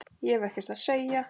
Ég hef ekkert að segja.